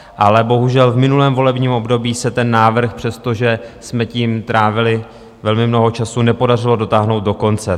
Ale bohužel v minulém volebním období se ten návrh, přestože jsme tím trávili velmi mnoho času, nepodařilo dotáhnout do konce.